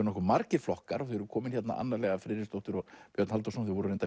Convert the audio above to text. nokkuð margir flokkar þau eru komin Anna Lea Friðriksdóttir og Björn Halldórsson voru